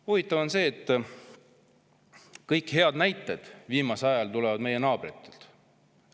Huvitav on see, et kõik head näited tulevad viimasel ajal meie naabritelt.